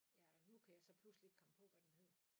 Ja og nu kan jeg så pludselig ikke komme på hvad den hedder